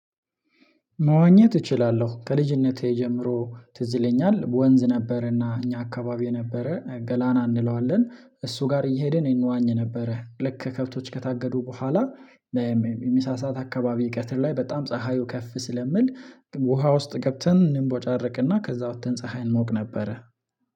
መዋኘት እችላለሁ ከልጅነቴ ጀምሮ ትዝ ይለኛል ወንዝ ነበርና እኛ አካባቢ የነበረ ገላና እንለዋለን እሱ ጋር እየሄደን ነው እንዋኝ ነበረ ልክ ከብቶች ከታገዱ በኋላ። የምሳ ሰዓት አካባቢ ቀትር ላይ በጣም ፀሀዩ ከፍ ስለምል ውሃ ውስጥ ገብተን እንቦጫረቅና ከዛ ወጥተን ፀሀይ እንሞቅ ነበረ